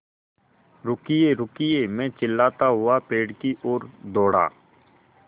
रुकिएरुकिए मैं चिल्लाता हुआ पेड़ की ओर दौड़ा